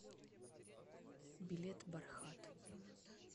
билет бархат